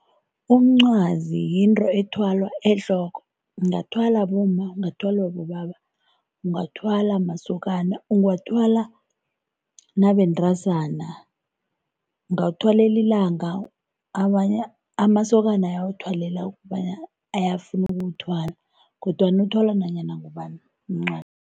Umncwazi yinto ethwalwa ehloko ungathwala bomma, ungathwalwa bobaba, ungathwala masokana, ungathwala nabentazana, ungawuthwalela ilanga. Amasokana ayawuthwala ukobana ayafuna ukuwuthwala kodwana uthwala nanyana ngubani umncwazi.